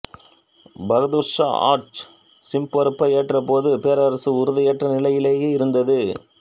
பகதூர் சா ஆட்சிப்பொறுப்பை ஏற்றபோது பேரரசு உறுதியற்ற நிலையிலேயே இருந்தது